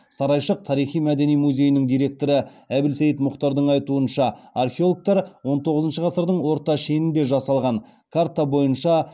сарайшық тарихи мәдени музейінің директоры әбілсейт мұхтардың айтуынша археологтар он тоғызыншы ғасырдың орта шенінде жасалған карта бойынша